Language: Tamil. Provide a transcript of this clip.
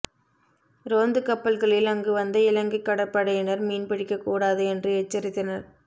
ரோந்து கப்பல்களில் அங்கு வந்த இலங்கை கடற்படையினர் மீன்பிடிக்க கூடாது என்று எச்சரித்தனர்